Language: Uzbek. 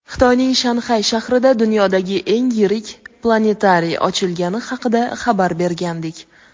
Xitoyning Shanxay shahrida dunyodagi eng yirik planetariy ochilgani haqida xabar bergandik.